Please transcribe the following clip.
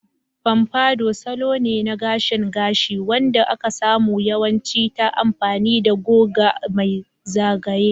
Pompadour salo ne na gashin gashi wanda aka samu yawanci ta amfani da goga mai zagaye.